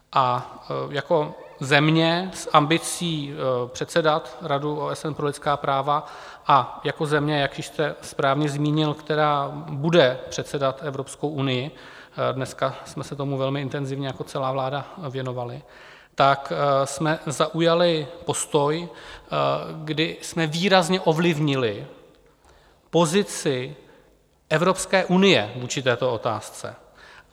A jako země s ambicí předsedat Radu OSN pro lidská práva a jako země, jak už jste správně zmínil, která bude předsedat Evropské unii, dneska jsme se tomu velmi intenzivně jako celá vláda věnovali, tak jsme zaujali postoj, kdy jsme výrazně ovlivnili pozici Evropské unie vůči této otázce.